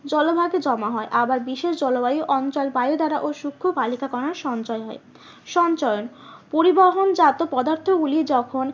জলভাগে জমা হয় আবার বিশেষ জলবায়ু অঞ্চল বায়ু দ্বারা ও সুক্ষ বালিকা কণার সঞ্চয় হয়। সঞ্চরণ পরিবহন জাত পদার্থ গুলি যখন